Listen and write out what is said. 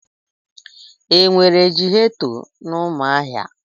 Enwere ghetọ na Umuahia?